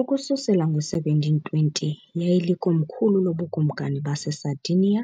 Ukususela ngo-1720 yayilikomkhulu loBukumkani baseSardinia